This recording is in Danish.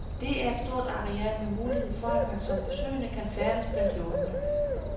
Det er et stort areal med mulighed for at man som besøgende kan færdes blandt hjortene.